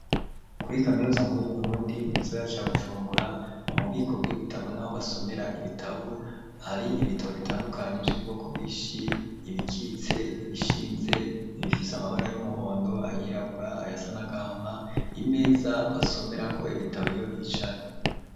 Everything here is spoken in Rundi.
Kuri kaminuza nkuru y'uBurundi muizaga ca Bujumbura ,mu bubiko bw'ibitabo naho basomera ibitabu hari ibitabu bitandukanye vy'ubwoko bwishi ibikitse ,ibishinze, ibifise amabara y'umuhondo ayirabura ayasa n'agahama ,imeza basomera ko ibitabo iyo bicaye.